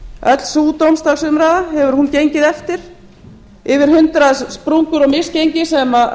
öll sú dómsdagsumræða hefur hún gengið eftir yfir hundrað sprungur og misgengi sem